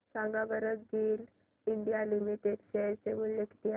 सांगा बरं GAIL India limited share मूल्य किती आहे